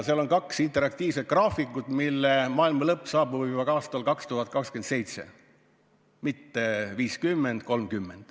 Seal on kaks interaktiivset graafikut, mille järgi maailmalõpp saabub juba aastal 2027, mitte 2050 ega 2030.